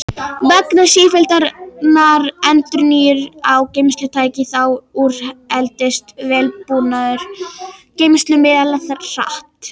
Vegna sífelldrar endurnýjunar á geymslutækni þá úreldist vélbúnaður geymslumiðlanna hratt.